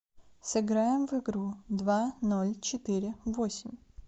сыграем в игру два ноль четыре восемь